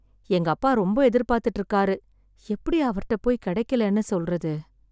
எங்க அப்பா ரொம்ப எதிர்பாத்துட்டு இருக்காரு, எப்படி அவர்ட்ட போய் கிடைக்கலேன்னு சொல்றது?